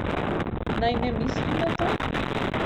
Naj ne mislim na to?